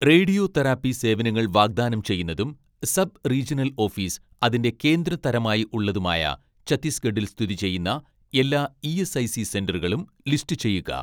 Radio therapy സേവനങ്ങൾ വാഗ്‌ദാനം ചെയ്യുന്നതും സബ് റീജണൽ ഓഫീസ് അതിന്റെ കേന്ദ്ര തരമായി ഉള്ളതുമായ ഛത്തീസ്ഗഡിൽ സ്ഥിതി ചെയ്യുന്ന എല്ലാ ഇ.എസ്.ഐ.സി സെന്ററുകളും ലിസ്റ്റുചെയ്യുക.